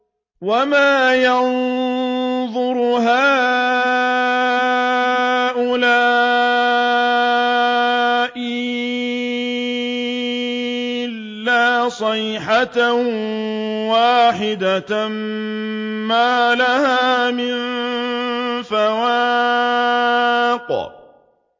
وَمَا يَنظُرُ هَٰؤُلَاءِ إِلَّا صَيْحَةً وَاحِدَةً مَّا لَهَا مِن فَوَاقٍ